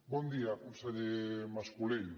bon dia conseller mascolell